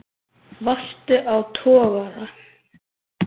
Varstu á togara?